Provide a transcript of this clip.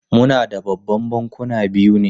Muna da Babban Bankuna biyu ne?